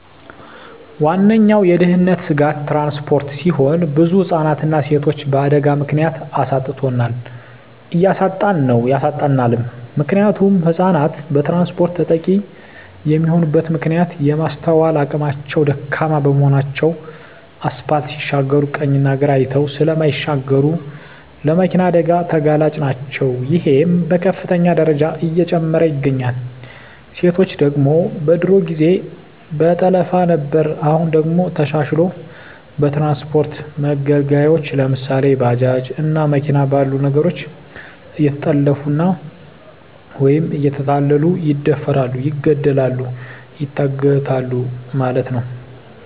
ዋነኛዉ የድህንነት ስጋት ትራንስፖርት ሲሆን ብዙ ህፃናትንና ሴቶችን በአደጋ ምክንያት አሳጥቶናል እያሳጣን ነዉ ያሳጣናልም። ምክንያቱም ህፃናት በትራንስፖርት ተጠቂ የሚሆኑበት ምክንያት የማስትዋል አቅማቸዉ ደካማ በመሆናቸዉ አስፓልት ሲሻገሩ ቀኝና ግራ አይተዉ ስለማይሻገሩ ለመኪና አደጋ ተጋላጭ ናቸዉ ይሄም በከፍተኛ ደረጃ እየጨመረ ይገኛል። ሴቶች ደግሞ በድሮ ጊዜ በጠለፋ ነበር አሁን ደግሞ ተሻሽልሎ በትራንስፖርት መገልገያወች ለምሳሌ፦ ባጃጅ እና መኪና ባሉ ነገሮች እየተጠለፊፉ ወይም እየተታለሉ ይደፈራሉ ይገደላሉ ይታገታሉ ማለት ነዉ።